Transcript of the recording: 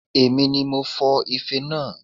Èmi ni mo fọ ife naa